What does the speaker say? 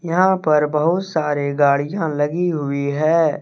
यहां पर बहुत सारे गाड़ियाँ लगी हुई है।